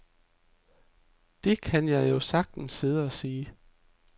Det kan jeg jo sagtens sidde og sige.